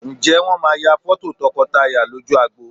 Ǹjẹ́ Wọ́n máa ya fọ́tò tọkọtaya lójú agbo?